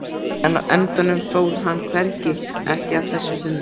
En á endanum fór hann hvergi, ekki að þessu sinni.